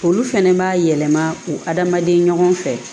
Olu fɛnɛ b'a yɛlɛma adamaden ɲɔgɔn fɛ